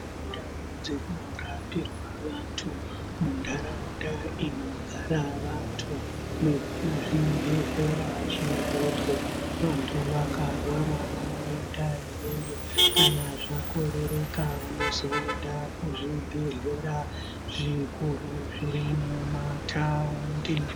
Ndau dzinorapirwa vantu muntaraunda inogara antu nekuzvibhedhlera zvidoko vantu vakarwara vanoenda iyoyo zvakorereka vozoenda kuzvibhedhlera zvikuru zviri mumataundi